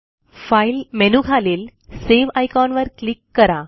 file मेनूखालील save आयकॉनवर click करा